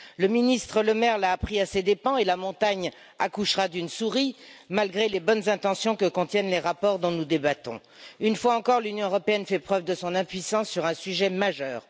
Le ministre Bruno Le Maire l'a appris à ses dépens et la montagne accouchera d'une souris, malgré les bonnes intentions que contiennent les rapports dont nous débattons. Une fois encore, l'Union européenne fait preuve de son impuissance sur un sujet majeur.